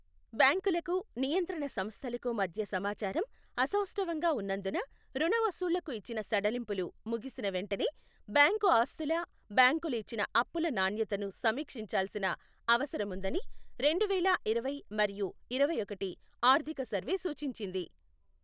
బ్యాంకులకు, నియంత్రణ సంస్థలకు మధ్య సమాచారం అసౌష్ఠవంగా ఉన్నందున రుణ వసూళ్లకు ఇచ్చిన సడలింపులు ముగిసిన వెంటనే బ్యాంకు ఆస్తుల బ్యాంకులు ఇచ్చిన అప్పుల నాణ్యతను సమీక్షించాల్సిన అవసరముందని రెండు వేళా ఇరవై మరియు ఇరవైఒకటి ఆర్థిక సర్వే సూచించింది.